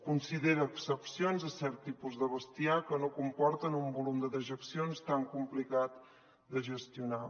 considera excepcions cert tipus de bestiar que no comporta un volum de dejeccions tan complicat de gestionar